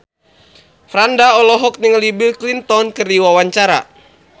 Franda olohok ningali Bill Clinton keur diwawancara